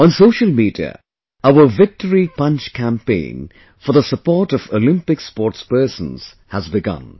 On social media, our Victory Punch Campaign for the support of Olympics sportspersons has begun